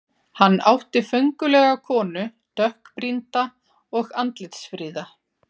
Hann átti föngulega konu, dökkbrýnda og andlitsfríða.